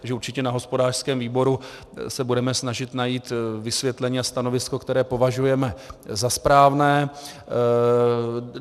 Takže určitě na hospodářském výboru se budeme snažit najít vysvětlení a stanovisko, které považujeme za správné.